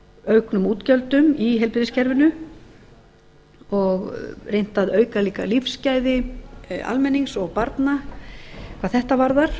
auknum útgjöldum í heilbrigðiskerfinu og reynt að auka líka lífsgæði almennings og barna hvað þetta varðar